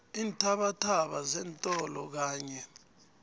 iinthabathaba zeentolo kanye